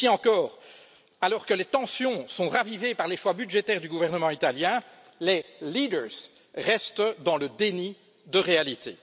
Ici encore, alors que les tensions sont ravivées par les choix budgétaires du gouvernement italien, les leaders restent dans le déni de réalité.